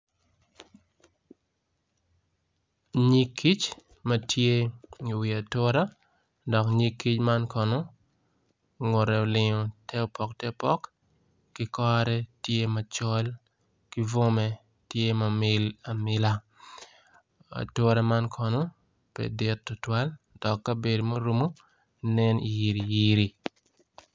Nyig kic matye iwi atura dok nyig kic man kono ngute olingo te opo te opok ki kore tye tye macol ki bwome tyema mil amila ature man kono pe dit tutwal dok kabedo murumu nen yiriyiri.